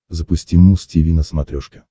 запусти муз тиви на смотрешке